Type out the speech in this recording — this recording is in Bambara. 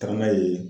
Tagama ye